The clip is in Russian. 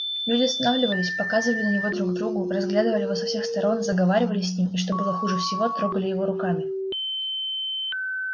люди останавливались показывали на него друг другу разглядывали его со всех сторон заговаривали с ним и что было хуже всего трогали его руками